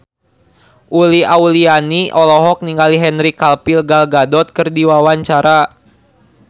Uli Auliani olohok ningali Henry Cavill Gal Gadot keur diwawancara